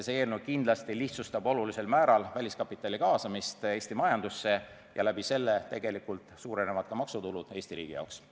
See eelnõu kindlasti lihtsustab olulisel määral väliskapitali kaasamist Eesti majandusse ja tegelikult suurenevad ka Eesti riigi maksutulud.